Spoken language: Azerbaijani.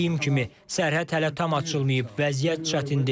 Dediyim kimi, sərhəd hələ tam açılmayıb, vəziyyət çətindir.